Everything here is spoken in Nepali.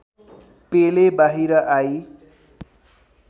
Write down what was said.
पेले बाहिर आई